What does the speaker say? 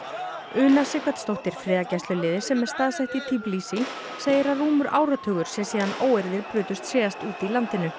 Una Sighvatsdóttir friðargæsluliði sem er staðsett í segir að rúmur áratugur sé síðan að óeirðir brutust síðast út í landinu